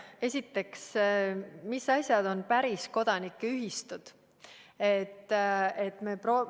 Esiteks, mis asjad on päris kodanikuühistud?